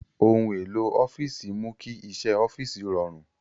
Ohun èlò ọ́fíìsì mú kí iṣẹ́ ọ́fíìsì rọrùn.